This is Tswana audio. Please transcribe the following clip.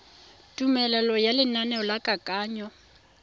tumelelo ya lenaneo la kananyo